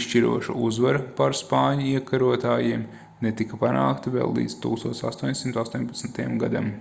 izšķiroša uzvara pār spāņu iekarotājiem netika panākta vēl līdz 1818. gadam